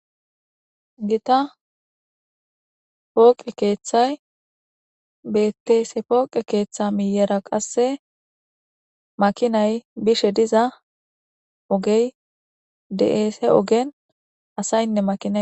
Giitta pooqqe keththay beetes he pooqqe keththa miyera qase maakinay biishe diza oogey beetes ha oogen asayinna maakinay beetes